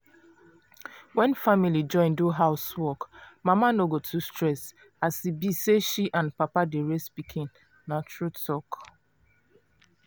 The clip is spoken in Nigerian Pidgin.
when family join do house work mama no go too stress as e be say she and papa dey raise pikin na true talk.